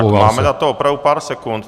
Tak máme na to opravdu pár sekund.